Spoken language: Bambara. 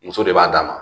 Muso de b'a d'a ma